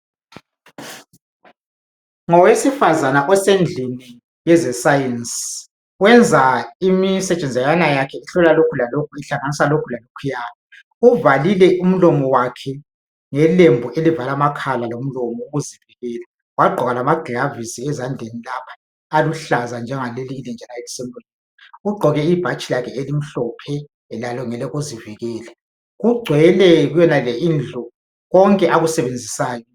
ngowesifazana osendlini kweze science wenza imisetshazanyana yakhe ehlola lokhu lalokhu ehlanganisa lokhu lalokhuya uvalile umlomo wakhe ngelembu elivala amakhala lomlomo ukuzivikela wagqoka lamagilavisi ezandleni lapha aluhlaza njengaleli elinje la elise ugqoke ibhatshi lakhe elimhlophe lalo ngelokuzivikela kugcwele kuyonale indlu konke akusebenzisayo